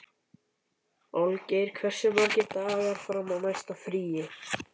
Olgeir, hversu margir dagar fram að næsta fríi?